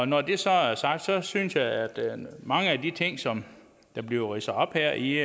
når det så er sagt synes jeg at mange af de ting som bliver ridset op her i